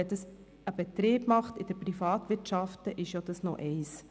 Wenn dies ein privatwirtschaftlicher Betrieb so handhabt, ist es das eine.